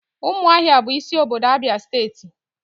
umuahia bu isi obodo Abia steeti.